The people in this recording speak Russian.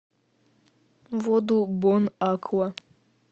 воду бон аква